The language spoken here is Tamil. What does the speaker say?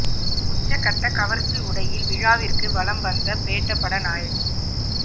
உச்சகட்ட கவர்ச்சி உடையில் விழாவிற்கு வலம் வந்த பேட்ட பட நாயகி